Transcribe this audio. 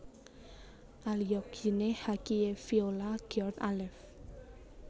Alyogyne hakeifolia Giord Alef